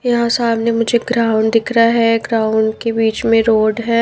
यहां सामने मुझे ग्राउंड दिख रहा है ग्राउंड के बीच में रोड है।